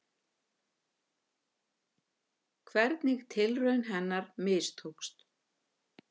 Hvernig tilraun hennar mistókst.